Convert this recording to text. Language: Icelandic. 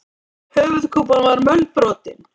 Höfuðkúpan var mölbrotin.